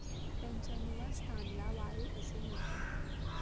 त्यांच्या निवासस्थानला वारुळ असे म्हणतात.